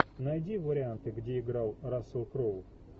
найди варианты где играл рассел кроу